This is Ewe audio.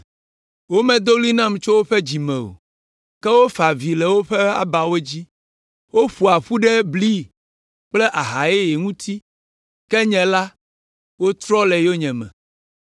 Womedo ɣli nam tso woƒe dzi me o, ke wofa avi le woƒe abawo dzi. Woƒoa ƒu ɖe bli kple aha yeye ŋuti, ke nye la, wotrɔ le yonyeme.